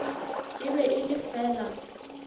e be e le fela